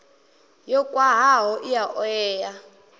yo khwahaho i a oea